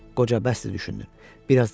Qoca, bəsdir düşündün.